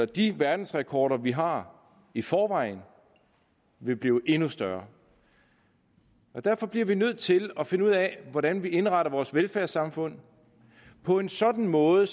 de verdensrekorder vi har i forvejen vil blive endnu større derfor bliver vi nødt til at finde ud af hvordan vi indretter vores velfærdssamfund på en sådan måde